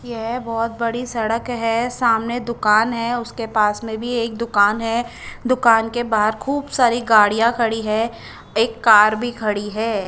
ये बोहोत बड़ी सड़क है सामने दूकान है उसके पास में भी एक दूकान है दूकान के बाहर खूब सारी गाड़िया खड़ी है एक कार भी खड़ी है।